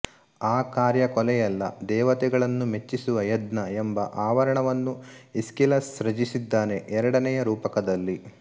ಆ ಕಾರ್ಯ ಕೊಲೆಯಲ್ಲ ದೇವತೆಗಳನ್ನು ಮೆಚ್ಚಿಸುವ ಯಜ್ಞಎಂಬ ಅವರಣವನ್ನು ಈಸ್ಕಿಲಸ್ ಸೃಜಿಸಿದ್ದಾನೆ ಎರಡನೆಯ ರೂಪಕದಲ್ಲಿ